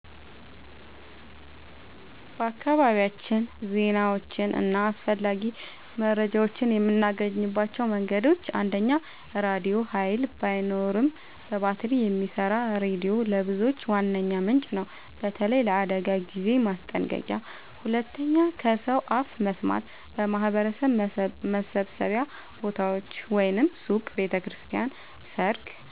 በአካባቢያችን ዜናዎችን እና አስፈላጊ መረጃዎችን የምናገኝባቸው መንገዶች፦ 1. ራድዮ – ኃይል ባይኖርም በባትሪ የሚሰራ ሬዲዮ ለብዙዎች ዋነኛ ምንጭ ነው፣ በተለይ ለአደጋ ጊዜ ማስጠንቀቂያ። 2. ከሰው አፍ መስማት – በማህበረሰብ መሰብሰቢያ ቦታዎች (ሱቅ፣ ቤተ ክርስቲያን፣ ሰርግ)